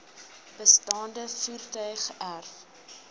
bestaande voertuie geërf